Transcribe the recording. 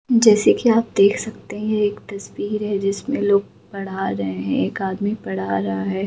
जैसे की आप देख सकते हैं यह एक तस्वीर है जिसमे लोग पढ़ा रहे हैं एक आदमी पढ़ा रहा है।